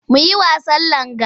Mu yi wasan langa.